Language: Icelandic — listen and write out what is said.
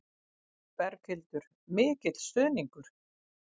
Berghildur: Mikil stuðningur?